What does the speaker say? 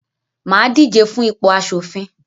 mà á díje fún ipò aṣòfin.